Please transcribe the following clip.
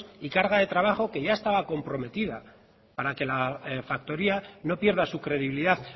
y carga de trabajo que ya estaba comprometida para que la factoría no pierda su credibilidad